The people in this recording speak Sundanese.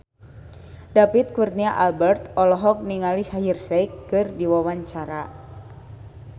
David Kurnia Albert olohok ningali Shaheer Sheikh keur diwawancara